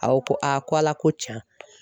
A ko ko a ko Ala ko tiɲɛ